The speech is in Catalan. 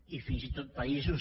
i fins i tot països